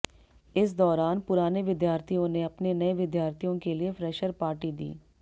इस दौरान पुराने विद्यार्थियों ने अपने नए विद्यार्थियों के लिए फ्रैशर पार्टी दी